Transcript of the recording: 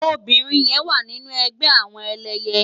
Óbirin yèn wá ninú ègbè àwòn èlèyè